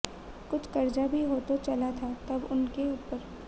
कुछ कर्जा भी हो चला था तब उन के ऊपर